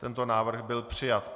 Tento návrh byl přijat.